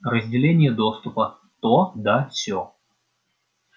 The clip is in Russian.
разделение доступа то да сё